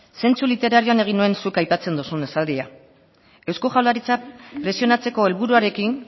zentzu literarioan egin nuen zuk aipatzen duzun esaldia eusko jaurlaritza presionatzeko helburuarekin